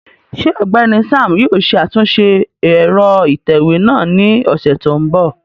Ṣe Ọgbẹni Sam yóò ṣe atunṣe ẹrọ itẹwe náa ni ọsẹ to nbọ?